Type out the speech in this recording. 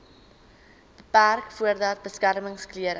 beperk voordat beskermingsklere